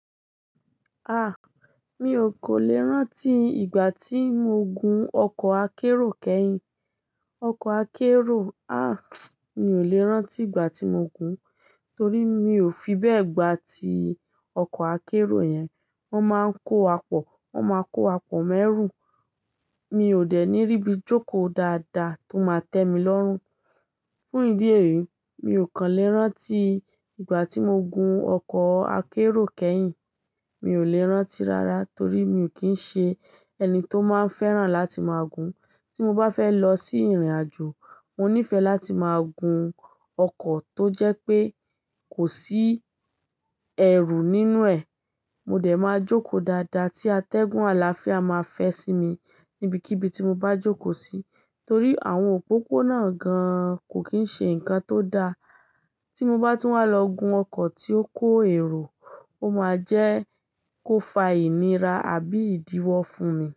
Ah! Mi ò kò lè rántí ìgbà tí mo gun ọkọ̀ akérò kẹ́yìn. Ọkọ̀ akérò, ah, mi ò lè rántí ìgbà tí mo gun torí mi ò fi bẹ́ẹ̀ gbá ti ọkọ̀ akérò yẹn. Wọ́n máa ń kó wàpọ̀, wọ́n máa kó wapọ̀ mẹ́rù. Mi ò dẹ̀ ní ríbi jókòó dáadáa tó máa tẹ mi lọ́run. Fún ìdí èyí, mi ò kàn lè rántí ìgbà tí mo gun ọkọ̀ akérò kẹ́yìn. Mi ò lè rántí rárá torí mi ò kí ń ṣe ẹni tó máa ń fẹ́ràn láti máa gun. Tí mo bá fẹ́ lọ sí ìrìnàjò, mo níìfẹ̀ láti máa gun ọkọ̀ tó jẹ́ pé kò sí ẹ̀rù nínú ẹ̀. Mo dẹ̀ máa jókòó dáadáa tí atẹ́gùn àlàáfíà máa fẹ́ sí mi níbikíbi tí mo bá jókòó sí torí àwọn òpópónà gan kò kí ń ṣe nǹkan tó da. Tí mo bá tún wá lọ gun ọkọ̀ tí ó kó èrò, ó máa jẹ́ kó fa ìnira àbí ìdíwọ́ fún mi.